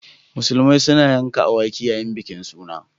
Musulmai suna yanka awaki yayin bikin suna.